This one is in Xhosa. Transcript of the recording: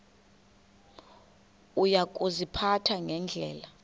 uya kuziphatha ngendlela